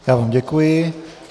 Já vám děkuji.